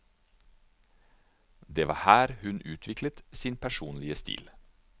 Det var her hun utviklet sin personlige stil.